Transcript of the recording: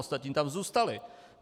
Ostatní tam zůstaly.